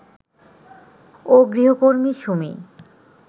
ও গৃহকর্মী সুমি